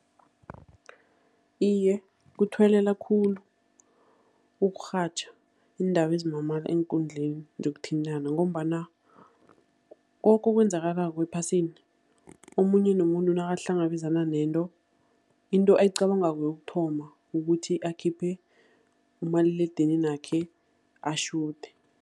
Iye, kuthuwelela khulu ukurhatjha iindaba ezimamala eenkundleni zokuthintana, ngombana koke okwenzakalako ephasini, omunye nomunye nakahlangabezana nento, into eyicabangako yokuthoma, kukuthi akhiphe umaliledininakhe atjhude.